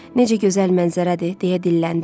Necə gözəl mənzərədir, deyə dilləndi.